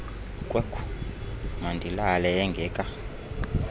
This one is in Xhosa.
kwekhu mandilale engaka